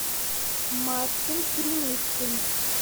мартин криницын